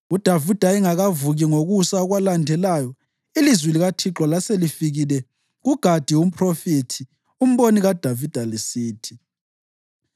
UDavida engakavuki ngokusa okwalandelayo, ilizwi likaThixo laselifikile kuGadi umphrofethi, umboni kaDavida, lisithi: